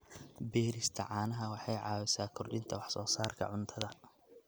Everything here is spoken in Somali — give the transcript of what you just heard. Beerista caanaha waxay caawisaa kordhinta wax soo saarka cuntada.